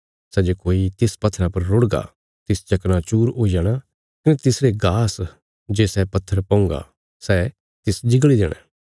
सै जे कोई तिस पत्थरा पर रुढ़गा तिस चकनाचूर हुई जाणा कने तिसरे गास जे सै पत्थर पौंहगा सै तिस जिगल़ी देणा